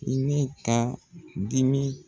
I be ka dimi